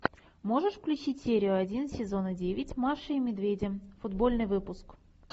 можешь включить серию один сезона девять маши и медведя футбольный выпуск